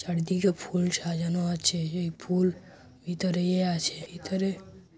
চারিদিকে ফুল সাজানো আছে। এ ফুল ভিতরেও ইয়ে আছে ভিতরে--